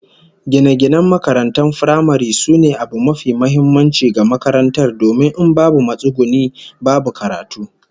Gine-ginen makarantar firamare sune abu mafi muhimmanci ga makarantar domin in babu matsuguni, babu karatu